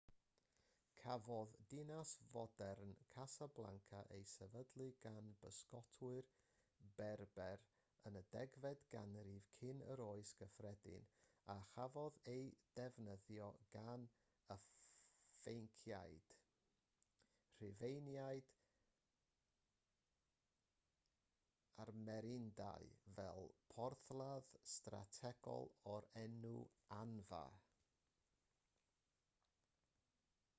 cafodd dinas fodern casablanca ei sefydlu gan bysgotwyr berber yn y 10fed ganrif cyn yr oes gyffredin a chafodd ei defnyddio gan y ffeniciaid rhufeiniaid a'r merenidau fel porthladd strategol o'r enw anfa